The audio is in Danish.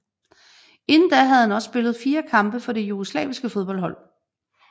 Inden da havde han også spillet fire kampe for det jugoslaviske landshold